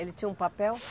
Ele tinha um papel?